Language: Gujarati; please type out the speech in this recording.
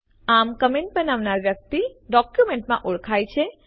આમ કમેન્ટને બનાવનાર વ્યક્તિ ડોક્યુમેન્ટમાં ઓળખાયેલ છે